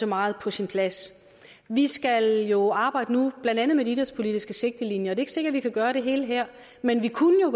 meget på sin plads vi skal jo nu arbejde blandt andet med de idrætspolitiske sigtelinjer det er ikke sikkert vi kan gøre det hele her men vi kunne jo